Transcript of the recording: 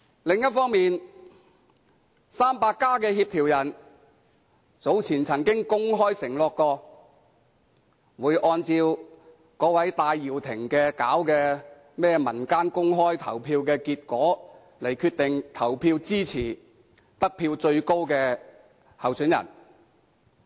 另一方面，"民主 300+" 的協調人早前曾公開承諾，會按照戴耀廷組織的"民間全民投票"的結果，決定投票支持得票最高的候選人。